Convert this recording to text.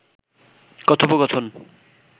কথোপকথন